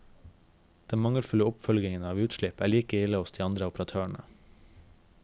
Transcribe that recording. Den mangelfulle oppfølgingen av utslipp er like ille hos de andre operatørene.